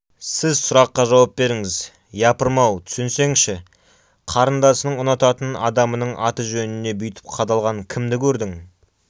сіз сұраққа жауап беріңіз япырмау түсінсеңші қарындасының ұнататын адамының аты-жөніне бүйтіп қадалған кімді көрдің